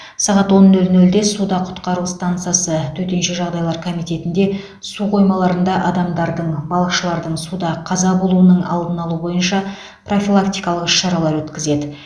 сағат он нөл нөлде суда құтқару стансасы төтенше жағдайлар комитетінде су қоймаларында адамдардың балықшылардың суда қаза болуының алдын алу бойынша профилактикалық іс шаралар өткізеді